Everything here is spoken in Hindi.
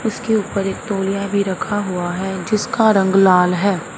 उसके ऊपर एक तौलिया भी रखा हुआ है जिसका रंग लाल है।